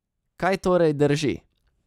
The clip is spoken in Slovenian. Kaj torej drži?